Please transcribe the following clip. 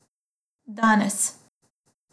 Danes!